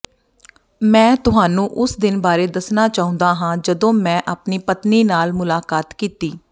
ਮੈਂ ਤੁਹਾਨੂੰ ਉਸ ਦਿਨ ਬਾਰੇ ਦੱਸਣਾ ਚਾਹੁੰਦਾ ਹਾਂ ਜਦੋਂ ਮੈਂ ਆਪਣੀ ਪਤਨੀ ਨਾਲ ਮੁਲਾਕਾਤ ਕੀਤੀ